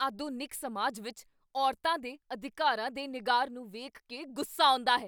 ਆਧੁਨਿਕ ਸਮਾਜ ਵਿੱਚ ਔਰਤਾਂ ਦੇ ਅਧਿਕਾਰਾਂ ਦੇ ਨਿਘਾਰ ਨੂੰ ਵੇਖ ਕੇ ਗੁੱਸਾ ਆਉਂਦਾ ਹੈ।